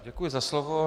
Děkuji za slovo.